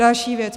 Další věc.